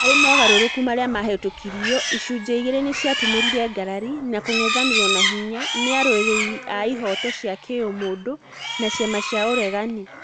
Harĩ mogarũrũku marĩa mahĩtũkirio, icunjĩ igĩrĩ nĩciatumũrire ngarari na kung'ethanĩrwo na hinya ni arũĩrĩrĩ a ihoto cia kiũmũndũ na ciama cia ũregani